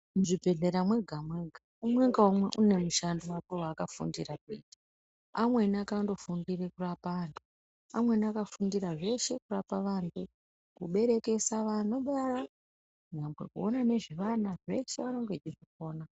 Muzvibhedhlera mwega mwega umwe ngaumwe une mushando wake waakafundira kuita amweni akanofundira kurape antu, amweni akanofundira zveshe kurapa vantu kuberekesa vanobara nyangwe kuona nezve vana zvese anenge eizvikona.